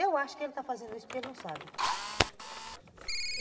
Eu acho que ele está fazendo isso porque ele não sabe.